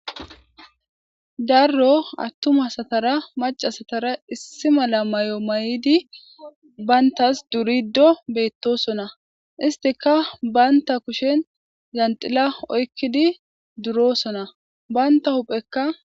darro attuma asatara maca asatara issi mala mayo mayidi bayntas durido beettosona istika baynta kushen janxila oykkidi durosona banta huphekka.